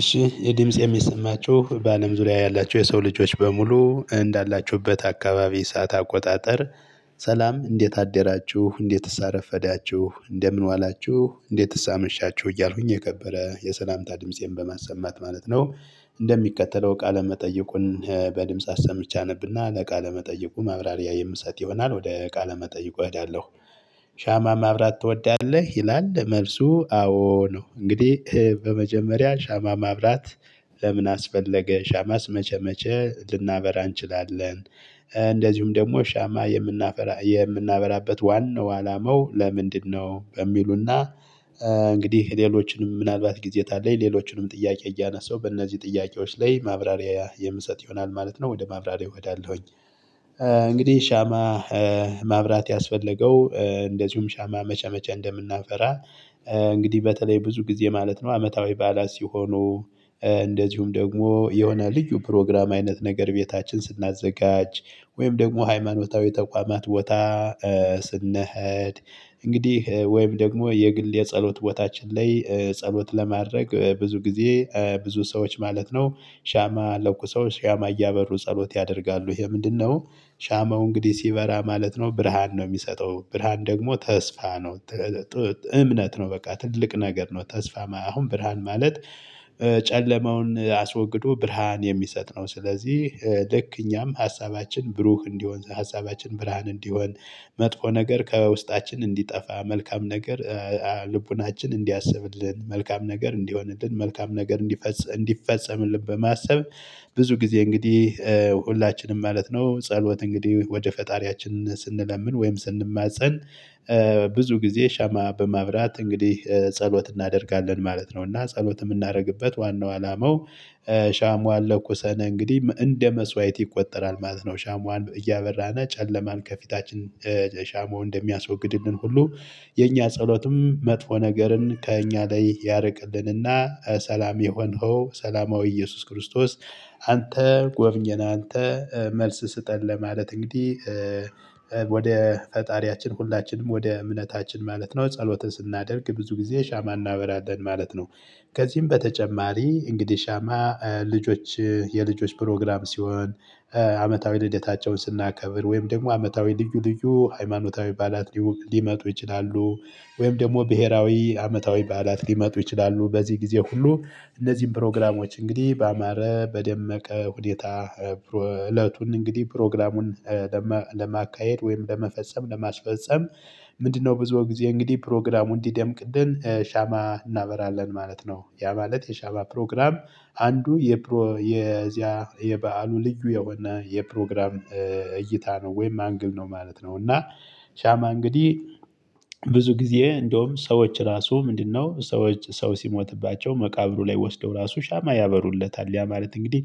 እሺ ይሄ ድምጽ የሚሰማችሁ በአለም ዙሪያ ያላችሁ የሰው ልጆች በሙሉ እንዳላችሁበት አካባቢ የሰዓት አቆጣጠር ሰላም እንዴት አደራችሁ እንዴትስ አረፈዳችሁ እንደምን ዋላችሁ እንዴትስ አመሻችሁ እያልኩኝ የከበረ የሰላምታ ድምፄን በማሰማት ማለት ነው። እንደሚከተለው ቃለ መጠየቁን በድምጽ አሰምቼ አነብና ለቃለመጠይቁ ማብራሪያ የምሰጥ ይሆናል ወደ ቃለመጠይቁ እሄዳለሁ። ሻማ ማብራት ትወዳለህ ይላል መልሱ አዎ ነው። እንግዲህ በመጀመሪያ ሻማ ማብራት። ለምን አስፈለገ ሻማስ መቼ መቼ ልናበራ እንችላለን? እንደዚሁም ደግሞ ሻማ የምናበራበት ዋናው አላመው ለምንድነው የሚሉና? እንግዲህ ሌሎችንም ምናልባት ጊዜ ካለኝ ሌሎችንም ጥያቄ እያነሳሁ በእነዚህ ጥያቄዎች ላይ ማብራሪያ የምሰጥ ይሆናል ማለት ነው ወደ ማብራሪያው እሄዳለሁኝ። እንግዲህ ሻማ ማብራት ያስፈለገው እንደዚሁም ሻማ መቼ መቼ እንደምናበራ? እንግዲህ በተለይ ብዙ ጊዜ ማለት ነው አመታዊ ባህላት ሲሆኑ እንደዚሁም ደግሞ የሆነ ልዩ ፕሮግራም አይነት ነገር ቤታችን ስናዘጋጅ ወይም ደግሞ ሃይማኖታዊ ተቋማት ቦታ ስንሄድ። እንግዲህ ወይም ደግሞ የግል የጸሎት ቦታችን ላይ ጸሎት ለማድረግ ብዙ ጊዜ ብዙ ሰዎች ማለት ነው ሻማ ለኩሰው ሻማ እያበሩ ጸሎት ያደርጋሉ ይሄ ምንድነው? ሻማው እንግዲህ ሲበራ ማለት ነው ብርሃን ነው የሚሰጠው ብርሃን ደግሞ ተስፋ ነው። እምነት ነው በቃ ትልቅ ነገር ነው። ተስፋ አሁን ብርሃን ማለት ጨለማውን አስወግዶ ብርሃን የሚሰጥ ነው። ስለዚህ ልክ እኛም ሀሳባችን ብሩህ እንዲሆን ሀሳባችን ብርሃን እንዲሆን መጥፎ ነገር ከውስጣችን እንዲጠፋ መልካም ነገር ልቡናችን እንዲያስብልን መልካም ነገር እንዲሆንልን መልካም ነገር እንዲፈጸም እንዲፈጸምልን በማሰብ። ብዙ ጊዜ እንግዲህ ሁላችንም ማለት ነው ጸሎት እንግዲህ ወደ ፈጣሪያችን ስንለምን ወይም ስንማፀን። ብዙ ጊዜ ሻማ በማብራት እንግዲህ ጸሎት እናደርጋለን ማለት ነው። እና ጸሎት የምናደርግበት ዋናው አላማው። ሻሟን ለኩሰን እንግዲህ እንደ መስዋዕት ይቆጠራል ማለት ነው። ሻሟን እያበራን ጨለማን ከፊታችን ሻማው እንደሚያስወግድልን ሁሉ የኛ ጸሎትም መጥፎ ነገርን ከእኛ ላይ ያርቅልንና ሰላም የሆንኸው ሰላማዊ ኢየሱስ ክርስቶስ። አንተ ጎብኘን አንተ መልስ ስጠን ለማለት እንግዲህ። ወደ ፈጣሪያችን ሁላችንም ወደ እምነታችን ማለት ነው ጸሎትን ስናደርግ ብዙ ጊዜ ሻማ እናበራለን ማለት ነው። ከዚህም በተጨማሪ እንግዲህ ሻማ ልጆች የልጆች ፕሮግራም ሲሆን አመታዊ ልደታቸውን ስናከብር ወይም ደግሞ አመታዊ ልዩ ልዩ ሃይማኖታዊ ባህላት ሊመጡ ይችላሉ። ወይም ደግሞ ብሄራዊ አመታዊ ባህላት ሊመጡ ይችላሉ። በዚህ ጊዜ ሁሉ እነዚህን ፕሮግራሞች እንግዲህ ባማረ በደመቀ ሁኔታ እለቱን እንግዲህ ፕሮግራሙን ለማካሄድ ወይም ለመፈጸም ለማስፈፀም ምንድነው ብዙ ጊዜ እንግዲህ ፕሮግራሙን እንዲደምቅልን ሻማ እናበራለን ማለት ነው። ያ ማለት የሻማ ፕሮግራም አንዱ የዚያ የበአሉ ልዩ የሆነ የፕሮግራም እይታ ነው ወይም አንግል ነው ማለት ነው። እና ሻማ እንግዲህ ብዙ ጊዜ እንደውም ሰዎች ራሱ ምንድነው ሰዎች ሰው ሲሞትባቸው መቃብሩ ላይ ወስደው ራሱ ሻማ ያበሩለታል ያ ማለት እንግዲህ